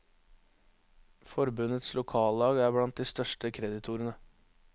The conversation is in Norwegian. Forbundets lokallag er blant de største kreditorene.